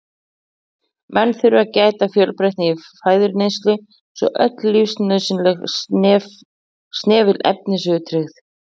Menn þurfa að gæta fjölbreytni í fæðuneyslu svo öll lífsnauðsynleg snefilefni séu tryggð.